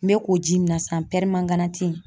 N bɛ k'o ji min na san ,pɛrɛmanganati